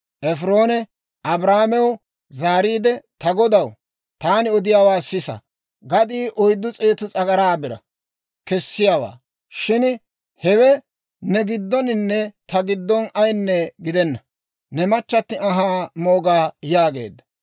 Efiroone Abrahaamew zaariide, «Ta godaw, taani odiyaawaa sisa; gadii oyddu s'eetu s'agaraa biraa kessiyaawaa; shin hewe ne giddoninne ta giddon ayinne gidenna; ne machchatti anhaa mooga» yaageedda.